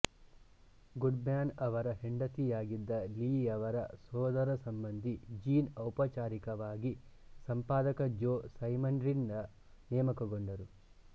Goodman ಅವರ ಹೆಂಡತಿಯಾಗಿದ್ದ ಲೀಯವರ ಸೋದರಸಂಬಂಧಿ ಜೀನ್ ಔಪಚಾರಿಕವಾಗಿ ಸಂಪಾದಕ ಜೋ ಸೈಮನ್ರಿಂದ ನೇಮಕಗೊಂಡರು